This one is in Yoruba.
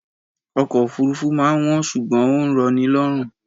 Ọkọ̀ òfúrufú máa ń wọ́n ṣùgbọ́n ó ń rọ ni lọ́rùn